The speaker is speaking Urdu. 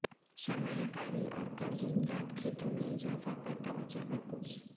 سرمایہ کاری اور قرض امداد کھیتوں میں اضافہ پر توجہ مرکوز